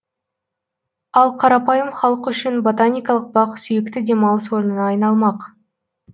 ал қарапайым халық үшін ботаникалық бақ сүйікті демалыс орнына айналмақ